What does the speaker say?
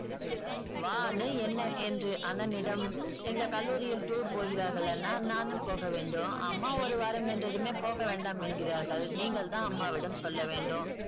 வா அண்ணே என்ன என்று அண்ணனிடம் எங்கள் கல்லூரியில் tour போகிறார்கள் அண்ணா நானும் போக வேண்டும் அம்மா ஒரு வாரம் என்றதுமே போகவேண்டாம் என்கிறார்கள் நீங்கள்தான் அம்மாவிடம் சொல்ல வேண்டும்